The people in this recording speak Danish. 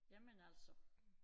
Jamen altså